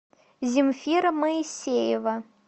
земфира моисеева